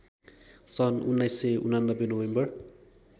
सन् १९८९ नोभेम्बर